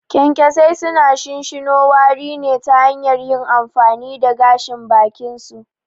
Kyankyasai suna shinshino wari ne ta hanyar yin amfani da gashin bakinsu.